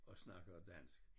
Og snakker dansk?